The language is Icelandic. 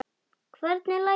Hvernig læt ég!